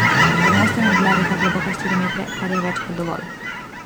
Pod mostom je bila reka globoka štiri metre, kar je več kot dovolj.